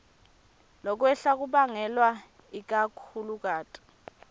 lokwehla kubangelwe ikakhulukati